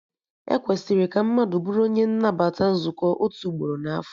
E kwesịrị ka mmadụ bụrụ onye nnabata nzukọ otu ugboro na afọ